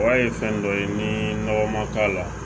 Wari ye fɛn dɔ ye ni nɔgɔ man k'a la